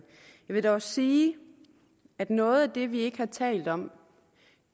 vil dog også sige at noget af det vi ikke har talt om